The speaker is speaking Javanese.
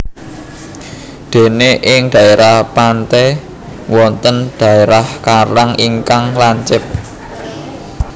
Dene ing dhaerah pante wonten dherah karang ingkang lancip